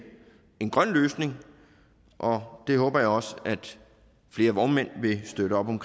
en grøn løsning og det håber jeg også at flere vognmænd vil støtte op om